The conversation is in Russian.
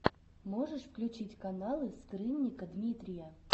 можешь включить каналы скрынника дмитрия